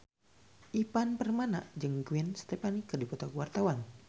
Ivan Permana jeung Gwen Stefani keur dipoto ku wartawan